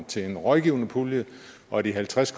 til en rådgivningspulje og de halvtreds